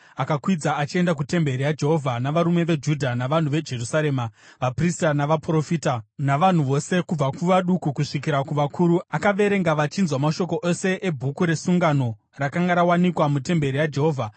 Akakwidza achienda kutemberi yaJehovha navarume veJudha, navanhu veJerusarema, vaprista navaprofita, navanhu vose kubva kuvaduku kusvikira kuvakuru. Akaverenga vachinzwa mashoko ose eBhuku reSungano, rakanga rawanikwa mutemberi yaJehovha.